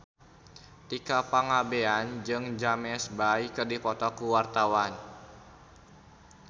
Tika Pangabean jeung James Bay keur dipoto ku wartawan